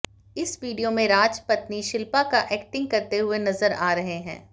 इस वीडियो में राज पत्नी शिल्पा का एक्टिंग करते हुए नजर आ रहे हैं